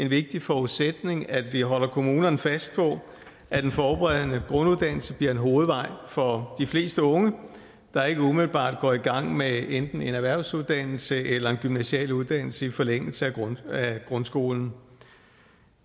vigtig forudsætning at vi holder kommunerne fast på at den forberedende grunduddannelse bliver en hovedvej for de fleste unge der ikke umiddelbart går i gang med enten en erhvervsuddannelse eller en gymnasial uddannelse i forlængelse af grundskolen